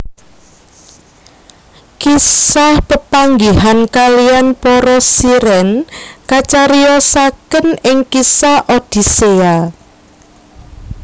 Kisah pepanggihan kalihan para Siren kacariyosaken ing kisah Odisseia